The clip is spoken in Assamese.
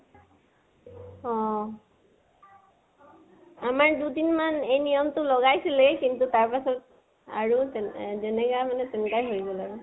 অহ। আমাৰ দুদিনমান এই নিয়মটো লগাইছিলে, কিন্তু তাৰ পিছত আৰু যেনেকা হলে তেনেকা হৈ গল আৰু।